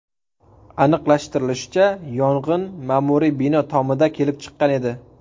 Aniqlashtirilishicha, yong‘in ma’muriy bino tomida kelib chiqqan edi.